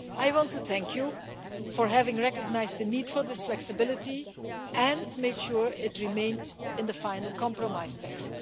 I want to thank you for having recognised the need for this flexibility and made sure it remained in the final compromise text.